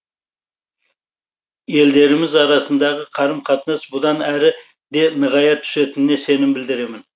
елдеріміз арасындағы қарым қатынас бұдан әрі де нығая түсетініне сенім білдіремін